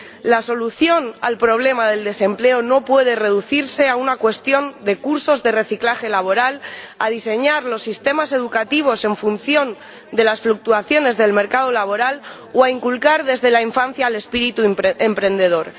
La solución al problema del desempleo no puede reducirse a una cuestión de cursos de reciclaje laboral, a diseñar los sistemas educativos en función de las fluctuaciones del mercado laboral o a inculcar desde la infancia el espíritu emprendedor.